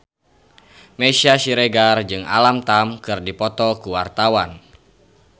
Meisya Siregar jeung Alam Tam keur dipoto ku wartawan